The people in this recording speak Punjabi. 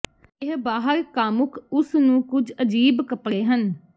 ਇਹ ਬਾਹਰ ਕਾਮੁਕ ਉਸ ਨੂੰ ਕੁਝ ਅਜੀਬ ਕੱਪੜੇ ਹਨ